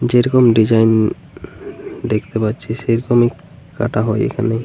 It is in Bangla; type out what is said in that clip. যেরকম ডিসাইন দেখতে পাচ্ছি সেরকম কাটা হয় এখানে।